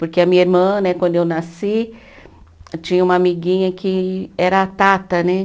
Porque a minha irmã né, quando eu nasci, tinha uma amiguinha que era a Tata né.